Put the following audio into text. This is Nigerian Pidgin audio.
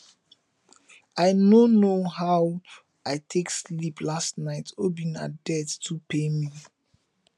i no know how i take sleep last night obinna death too pain me